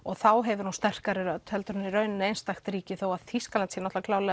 þá hefur hún sterkari rödd en einstakt ríki þó að Þýskaland sé